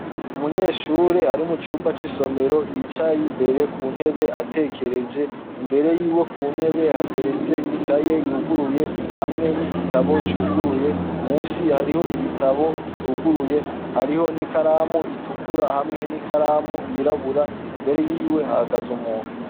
Umunyeshure ari mucumba c'isomero Yicaye imbere, kuntebe atekereje, imbere yiwe kuntebe hateretse ikaye yiwe yuguruye, hamwe n'igitabo cuguruye, munsi hariho ibitabo bituguruye, hariyo n'ikaramu itukura hamwe n'ikaramu yirabura, imbere yiwe hahagaze umuntu.